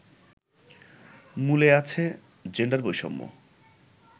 মূলে আছে জেন্ডার বৈষম্য